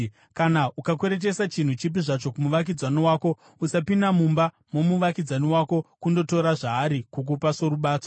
Kana ukakweretesa chinhu chipi zvacho kumuvakidzani wako, usapinda mumba momuvakidzani wako kundotora zvaari kukupa sorubatso.